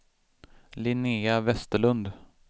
Linnéa Westerlund